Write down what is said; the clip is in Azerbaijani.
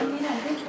Həmin bir şey.